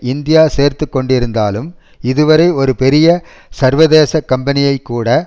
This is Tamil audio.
இந்தியா சேர்த்து கொண்டிருந்தாலும் இது வரை ஒரு பெரிய சர்வதேச கம்பெனியைக்கூட